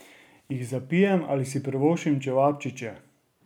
Jih zapijem ali si privoščim čevapčiče?